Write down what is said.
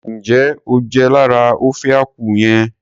Njẹ o jẹ lára ofe akwu yẹn?